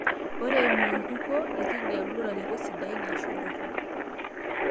Ore eimo enkuko, ekigelu larikok sidain aashu ltorrok